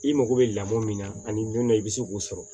I mago bɛ lamɔ min na ani don dɔ i bɛ se k'o sɔrɔ